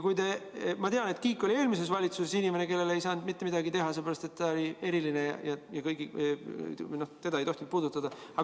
Ma tean, et Kiik oli eelmises valitsuses inimene, kellele ei saanud mitte midagi teha, sellepärast et ta oli eriline ja teda ei tohtinud puudutada.